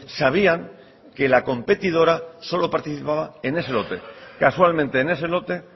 sabían que la competidora solo participaba en ese lote casualmente en ese lote